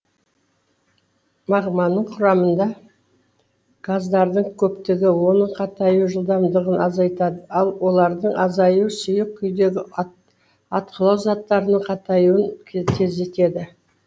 магманың құрамында газдардың көптігі оның қатаю жылдамдығын азайтады ал олардың азаюы сұйық күйдегі атқылау заттарының қатаюын тездетеді